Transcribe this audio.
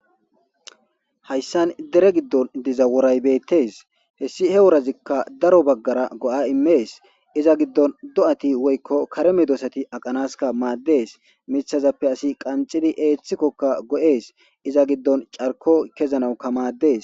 Hayssan dere giddon diza woray bettees hessi he worazikka daro baggara go7a immees. Iza giddon do7ati woykko kare medoosati aqanaska maaddees. Mithazappe asi qanxidi eeththikokka go7ees. Iza giddon carko ku7anawukka maaddees.